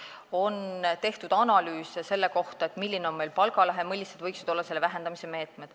On tehtud analüüse selle kohta, milline on meil palgalõhe ja millised võiksid olla selle vähendamise meetmed.